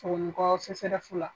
Sogonikɔ CSREF la.